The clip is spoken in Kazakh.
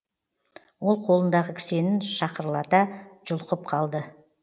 ол қолындағы кісенін шақырлата жұлқып қалды